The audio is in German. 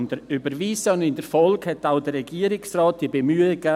In der Folge unterstützte auch der Regierungsrat diese Bemühungen.